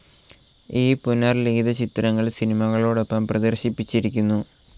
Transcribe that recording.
ഈ പുനർലിഖിത ചിത്രങ്ങൾ സിനിമകളോടൊപ്പം പ്രദർശിപ്പിച്ചിരിക്കും.